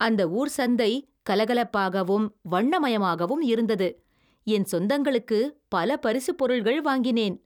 அந்த ஊர் சந்தை கலகலப்பாகவும் வண்ணமயமாகவும் இருந்தது. என் சொந்தகளுக்கு பல பரிசு பொருள்கள் வாங்கினேன்.